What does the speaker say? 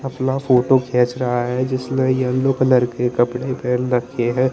पतला फोटो खींच रहा है जिसने येलो कलर के कपडे पहन रखे है ।